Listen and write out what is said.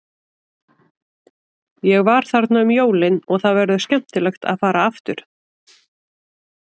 Ég var þarna um jólin og það verður skemmtilegt að fara aftur.